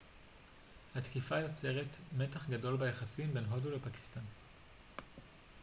התקיפה יוצרת מתח גדול ביחסים בין הודו לפקיסטן